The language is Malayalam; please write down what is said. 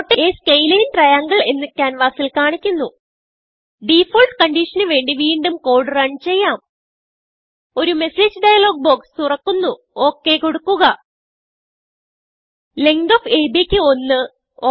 നോട്ട് a സ്കേലിൻ triangleഎന്ന് ക്യാൻവാസിൽ കാണിക്കുന്നു ഡിഫാൾട്ട് കൺഡിഷനു വേണ്ടി വീണ്ടും കോഡ് റൺ ചെയ്യാം ഒരു മെസ്സേജ് ഡയലോഗ് ബോക്സ് തുറക്കുന്നു okകൊടുക്കുക ലെങ്ത് ഓഫ് അബ് ക്ക് 1